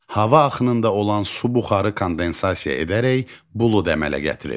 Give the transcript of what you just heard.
Hava axınında olan su buxarı kondensasiya edərək bulud əmələ gətirir.